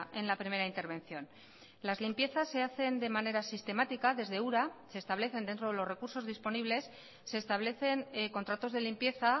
en la primera intervención las limpiezas se hacen de manera sistemática desde ura se establecen dentro de los recursos disponibles se establecen contratos de limpieza